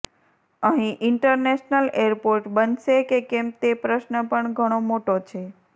અહી international airport બનશે કે કેમ તે પ્રશ્ન પણ ઘણો મોટો છે